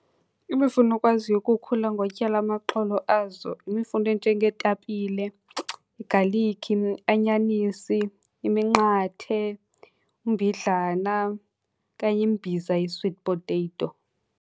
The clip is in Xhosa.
Imifuno okwaziyo ukukhula ngotyala amaxolo azo yimifuno enjengeetapille, igalikhi, anyanisi, iminqathe, umbidlana okanye imbiza ye-sweet potato.